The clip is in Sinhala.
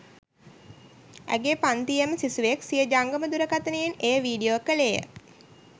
ඇගේ පන්තියේම සිසුවෙක් සිය ජංගම දුරකථනයෙන් එය වීඩියෝ කෙළේය.